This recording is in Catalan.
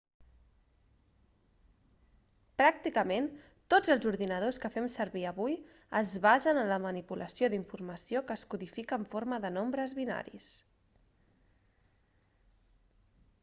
pràcticament tots els ordinadors que fem servir avui es basen en la manipulació d'informació que es codifica en forma de nombres binaris